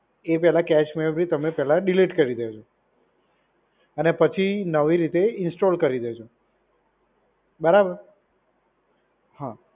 એ પહેલા cache memory તમને પહેલા ડીલીટ કરી દેજો. અને પછી નવી રીતે ઇન્સ્ટોલ કરી દેજો. બરાબર. હા.